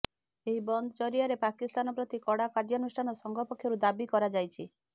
ଏହି ବନ୍ଦ ଜରିଆରେ ପାକିସ୍ତାନ ପ୍ରତି କଡା କାର୍ଯ୍ୟାନୁଷ୍ଠାନ ସଂଘ ପକ୍ଷରୁ ଦାବି କରାଯାଇଛି